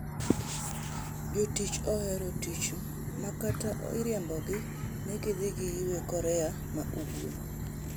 Jotich ohero tich ma kata iriembogi ni gidhi giyue Korea ma ugwe.